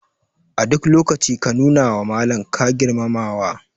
A duk lokaci ka nuna wa Malaman ka girmamawa.